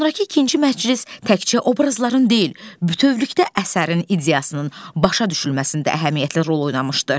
Sonrakı ikinci məclis təkcə obrazların deyil, bütövlükdə əsərin ideyasının başa düşülməsində əhəmiyyətli rol oynamışdır.